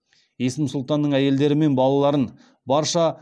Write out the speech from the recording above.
есім сұлтанның әйелдері мен балаларын